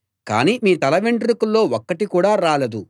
కానీ మీ తల వెంట్రుకల్లో ఒక్కటి కూడా రాలదు